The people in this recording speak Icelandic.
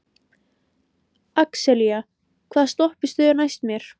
Axelía, hvaða stoppistöð er næst mér?